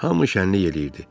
Hamı şənlik eləyirdi.